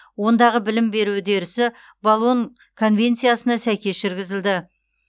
ондағы білім беру үдерісі болон конвенциясына сәйкес жүргізіледі